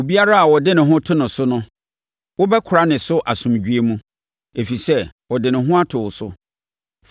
Obiara a ɔde ne ho to wo so no wobɛkora ne so asomdwoeɛ mu, ɛfiri sɛ ɔde ne ho ato wo so.